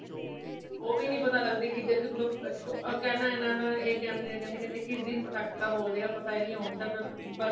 ਓਵੀ ਨਹੀਂ ਪਤਾ ਲੱਗਦੀ ਕਿੱਧਰ ਕੇਨਾ ਐਨਾਦਾ ਇਹ ਕੇਂਦੇ ,ਕੇਂਦੇ ਕਿਸ ਦਿਨ ਪਟਾਕਾ ਬੋਲ ਜਾਏਗਾ, ਪਤਾ ਹੀ ਨਹੀਂ ਹੋਣ ਤਾ ਫੇਰ ਬੱਸ